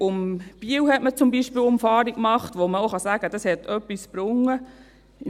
Um Biel hat man zum Beispiel eine Umfahrung gemacht, bei der man auch sagen kann, dass es etwas gebracht hat.